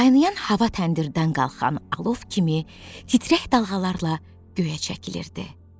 Qaynayan hava təndirdən qalxan alov kimi titrək dalğalarla göyə çəkilirdi.